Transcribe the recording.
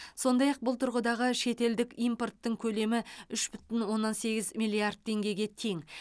сондай ақ бұл тұрғыдағы шетелдік импорттың көлемі үш бүтін оннан сегіз миллиард теңгеге тең